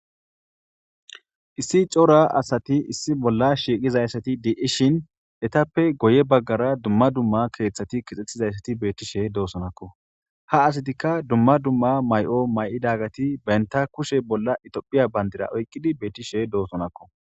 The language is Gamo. issi cora asati issi bolla shiiqizayssati di7ishin etappe goye baggara dumma dumma keeththati kixxettizayssati beettishe doosonakko ha asatikka dumma dumma may7o may7idagati beynta kushe bolla itophiya bandira oyqqidi beettishe doosonakko